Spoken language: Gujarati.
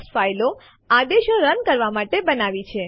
જો તેઓ સમાન હોય તો આપણે તેમાંથી એક ને રદ કરી શકીએ છીએ